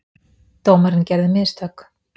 Dómarinn gerði mistök.